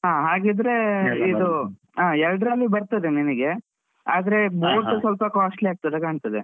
ಹಾ ಹಾಗಿದ್ರೆ ಆ ಎರ್ಡ್ರಲ್ಲೂ ಬರ್ತದೆ ನಿನಿಗೆ. ಆದ್ರೆ ಸೊಲ್ಪ costly ಆಗ್ತದೆ ಕಾಣ್ತದೆ.